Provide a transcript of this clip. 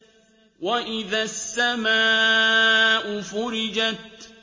وَإِذَا السَّمَاءُ فُرِجَتْ